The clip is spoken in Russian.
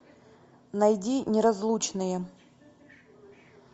найди неразлучные